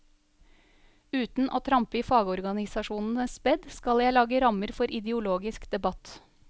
Uten å trampe i fagorganisasjonenes bed skal jeg lage rammer for ideologisk debatt.